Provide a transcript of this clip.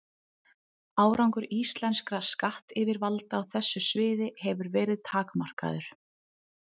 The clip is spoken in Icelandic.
Árangur íslenskra skattyfirvalda á þessu sviði hefur verið takmarkaður.